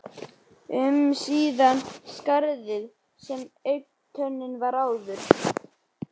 um síðan í skarðið þar sem augntönnin var áður.